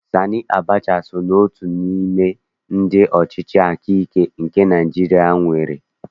Sani Abacha so n'otu n'ime ndị ọchịchị akaike nke Naịjirịa nwerela